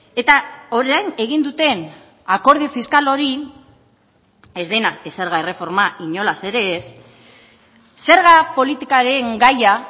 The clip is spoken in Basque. eta orain egin duten akordio fiskal hori ez dena zerga erreforma inolaz ere ez zerga politikaren gaia